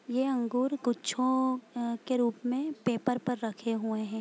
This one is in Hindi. ये अंगूर गुच्छों अ के रूप में पेपर पर रखे हुए है।